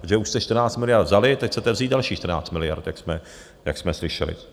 Protože už jste 14 miliard vzali, teď chcete vzít dalších 14 miliard, jak jsme slyšeli.